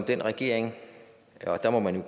den regering og der må man jo